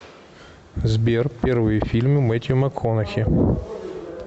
сбер первые фильмы мэттью макконахи